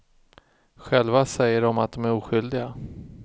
Själva säger de att de är oskyldiga.